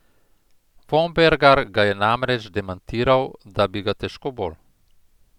Vombergar ga je namreč demantiral, da bi ga težko bolj.